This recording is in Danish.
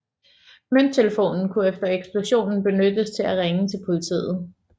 Mønttelefonen kunne efter eksplosionen benyttes til at ringe til politiet